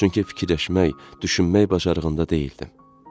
Çünki fikirləşmək, düşünmək bacarığında deyildim.